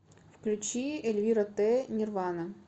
включи эльвира т нирвана